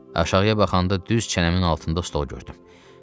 Aşağıya baxanda düz çənəmin altında stol gördüm.